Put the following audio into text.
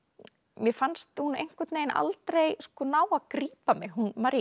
mér fannst hún einhvern veginn aldrei ná að grípa mig hún